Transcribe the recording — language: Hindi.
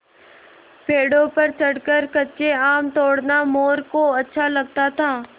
पेड़ों पर चढ़कर कच्चे आम तोड़ना मोरू को अच्छा लगता था